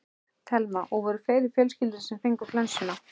Telma: Og voru fleiri í fjölskyldunni sem fengu flensuna?